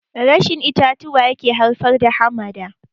Rashin itatuwa yake haifar da hamada